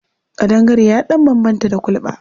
Ƙandangare ya ɗan bambanta da kulɓa.